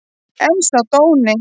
En sá dóni!